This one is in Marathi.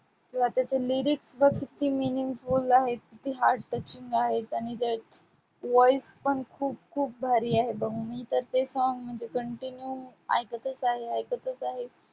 किंवा त्याचे lyrics बाबतीतले meanings आहेत ती heart touching आहेत आणि voice पण खूप खूप भारी आहे बघ, मी तर ते song म्हणजे continue ऐकतच आहे, ऐकतच आहे.